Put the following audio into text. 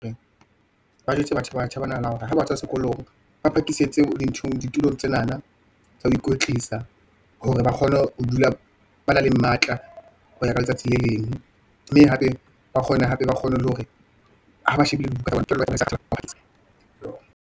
Ba jwetse batjha banana, hore ha ba tswa sekolong, ba phakisitse dinthong ditulong tsenana tsa ho ikwetlisa, hore ba kgone ho dula ba na le matla, ho ya ka letsatsi le leng, mme hape ba kgona hape, ba kgone le hore ha ba shebile dibuka , Kelello .